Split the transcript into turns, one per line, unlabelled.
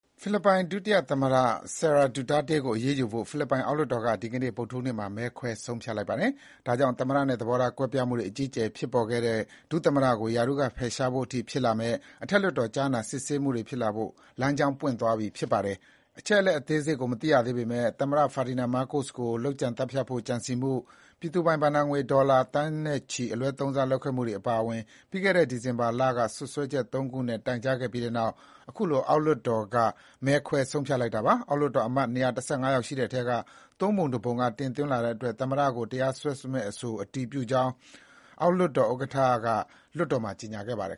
ဖိလစ်ပိုင်ဒုတိယသမ္မတ Sara Duterte ကို အရေးယူဖို့ ဖိလစ်ပိုင်အောက်လွှတ်တော်က ဒီကနေ့ ဗုဒ္ဓဟူးနေ့မှာ မဲခွဲဆုံးဖြတ်လိုက်ပါတယ်။ ဒါကြောင့် သမ္မတနဲ့ သဘောထားကွဲပြားမှုတွေ အကြီးအကျယ် ဖြစ်ပေါ်ခဲ့တဲ့ ဒုသမ္မတကို ရာထူးကဖယ်ရှားဖို့အထိဖြစ်လာမယ့် အထက်လွှတ်တော် ကြားနာစစ်ဆေးမှု တွေဖြစ်လာဖို့ လမ်းကြောင်းပွင့်သွားပြီ ဖြစ်ပါတယ်။ အချက်အလက်အသေးစိတ်ကိုမသိရသေးပေမဲ့ သမ္မတ Ferdinand Marcos ကို လုပ်ကြံသတ်ဖြတ်ဖို့ ကြံစည်မှု၊ ပြည်သူပိုင်ဘဏ္ဍာငွေ ဒေါ်လာသန်းနဲ့ချီ အလွဲသုံးစားလုပ်ခဲ့မှုအပါအဝင် ပြီးခဲ့တဲ့ ဒီဇင်ဘာလ က စွပ်စွဲချက် ၃ ခုနဲ့ တိုင်ကြားခဲ့ပြီးနောက် အခုလို အောက်လွှတ်တော်က မဲခွဲ ဆုံးဖြတ်လိုက်တာပါ။ အောက်လွှတ်တော်အမတ် ၂၁၅ ယောက်ရှိတဲ့အထဲက ၃ ပုံ ၁ ပုံက တင်သွင်းလာတဲ့အတွက် ဒုသမ္မတကိုတရားစွဲမယ့်အဆိုကို အတည်ပြုကြောင်း အောက်လွှတ်တော်ဥက္ကဋ္ဌ Martin Romualdez က
လွှတ်တော်မှာ ကြေညာခဲ့ပါတယ်